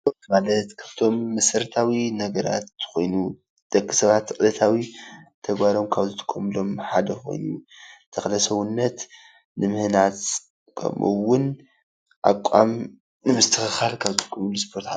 ስፖርት ማለት ካብቶም መሰረታዊ ነገራት ኮይኑ ደቂ ሰባት ዕለታዊ ተግባሮም ካብ ዝጥቀሙሎም ሓደ ኾይኑ ተክለ ሰውነት ንምህናፅ ከምኡ ውን ኣቋም ንምስትኸኻል ካብዝጥቀሙሉ ስፖርቲ